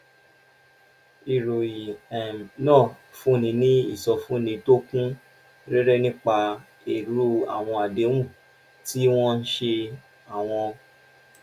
ìròyìn um náà fúnni ní ìsọfúnni tó kún rẹ́rẹ́ nípa irú àwọn àdéhùn tí wọ́n ṣe àwọn